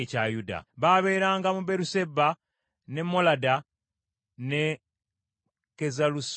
Babeeranga mu Beeruseba, ne Molada, ne Kazalusuwali,